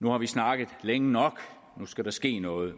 nu har vi snakket længe nok og nu skal der ske noget